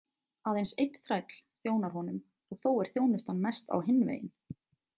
Aðeins einn þræll þjónar honum og þó er þjónustan mest á hinn veginn.